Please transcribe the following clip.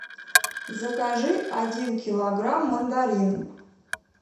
закажи один килограмм мандарин